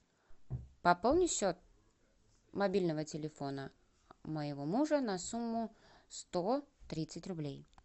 пополни счет мобильного телефона моего мужа на сумму сто тридцать рублей